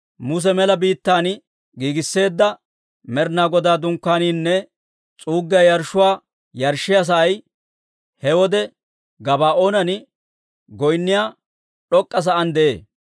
Muse mela biittaan giigisseedda Med'inaa Godaa Dunkkaaniinne s'uuggiyaa yarshshuwaa yarshshiyaa sa'ay he wode Gabaa'oonan goynniyaa d'ok'k'a sa'aan de'ee.